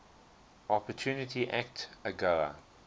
opportunity act agoa